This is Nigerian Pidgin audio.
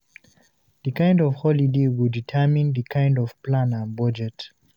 The kind of holiday go determine di kind of plan and budget